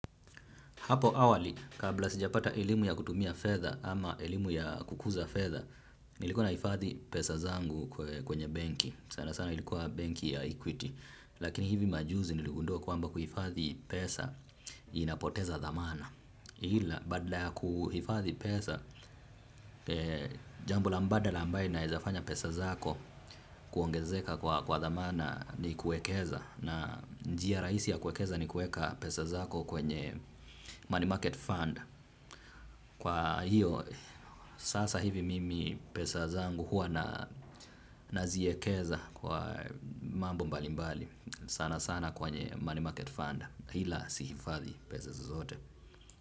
Hapo awali, kabla sijapata elimu ya kutumia fedha ama elimu ya kukuza fedha, nilikuwa naifadhi pesa zangu kwenye benki. Sana sana ilikuwa benki ya equity. Lakini hivi majuzi niligundua kwamba kuhifadhi pesa inapoteza dhamana. Ila badala ya kuhifadhi pesa, jambo la mbada ambae inaeza fanya pesa zako kuongezeka kwa dhamana ni kuekeza na njia raisi ya kuekeza ni kueka pesa zako kwenye money market fund. Kwa hiyo, sasa hivi mimi pesa zangu hua naziekeza kwa mambo mbalimbali sana sana kwenye money market fund. Ila si hifadhi pesa zozote.